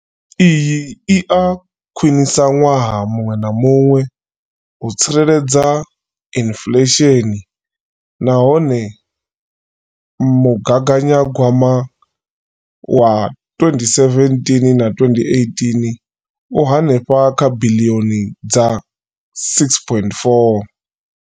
Iyi i a khwiniswa ṅwaha muṅwe na muṅwe u tsireledza inflesheni nahone mugaganyagwama wa 2017 na 18 u henefha kha biḽioni dza R6.4.